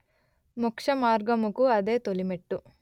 మొక్షమార్గముకు అదే తొలిమెట్టు